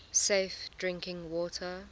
safe drinking water